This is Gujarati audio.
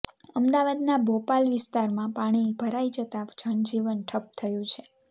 અમદાવાદના બોપલ વિસ્તારમાં પાણી ભરાઈ જતા જનજીવન ઠપ થયું છે